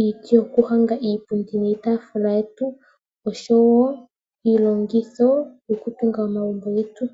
iiti yokuhonga iipundi niitaafula yetu oshowoo iilongitho yokutunga omagumbo getu.